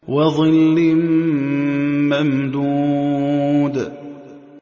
وَظِلٍّ مَّمْدُودٍ